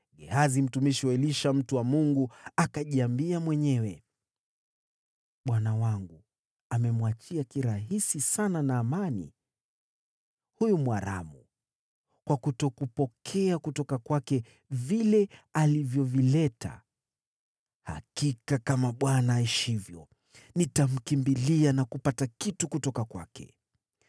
Gehazi, mtumishi wa Elisha mtu wa Mungu, akajiambia mwenyewe, “Bwana wangu amemwachia kirahisi sana Naamani, huyu Mwaramu, kwa kutokupokea kutoka kwake vile alivyovileta. Hakika kama Bwana aishivyo, nitamkimbilia na kupata kitu kutoka kwake.”